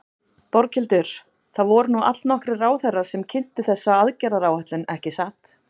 Berghildur, það voru nú allnokkrir ráðherrar sem kynntu þessa aðgerðaráætlun, ekki satt?